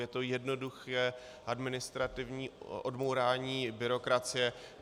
Je to jednoduché administrativní odbourání byrokracie.